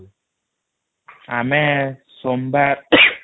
ଆମେ ସୋମବାର |